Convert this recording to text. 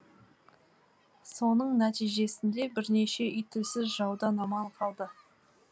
соның нәтижесінде бірнеше үй тілсіз жаудан аман қалды